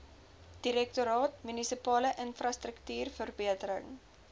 direktoraat munisipale infrastruktuurverbetering